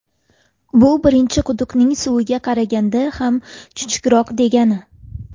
Bu birinchi quduqning suviga qaraganda ham chuchukroq degani.